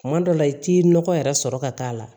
Kuma dɔ la i t'i nɔgɔ yɛrɛ sɔrɔ ka k'a la